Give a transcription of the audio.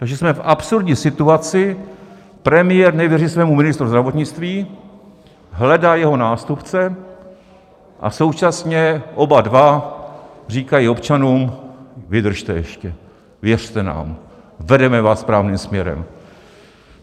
Takže jsme v absurdní situaci - premiér nevěří svému ministru zdravotnictví, hledá jeho nástupce a současně oba dva říkají občanům: Vydržte ještě, věřte nám, vedeme vás správným směrem.